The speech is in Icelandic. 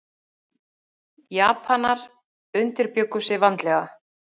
Japanar undirbjuggu sig vandlega.